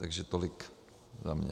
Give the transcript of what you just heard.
Takže tolik za mě.